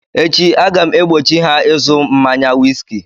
Echi aga m egbochi ha ịzụ mmaya wiski